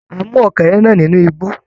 A mú ọ́kẹ́rẹ́ náà nínú igbó.